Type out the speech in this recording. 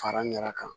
Fara ɲaga kan